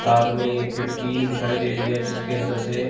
साथ में ये खिड़की दिखाई दे रही है जिसके अंदर से--